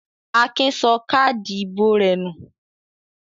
Akin sọ káádì ìbò rẹ̀ nù?